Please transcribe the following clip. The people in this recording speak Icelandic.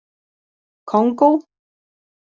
Kongó